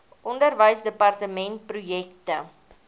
onderwysdepartementprojekte